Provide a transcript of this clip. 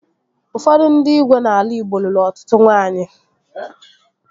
Ụfọdụ ndị igwe n'ala Igbo lụrụ ọtụtụ nwaanyị